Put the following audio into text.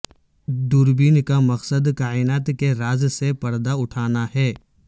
دوربین کا مقصد کائنات کے راز سے پردہ اٹھانا ہے